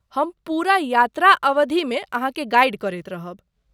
हम पूरा यात्रा अवधिमे अहाँके गाइड करैत रहब।